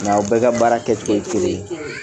Nka aw bɛ ka baara kɛcogo ye kelen kɛcogo ye kelen ye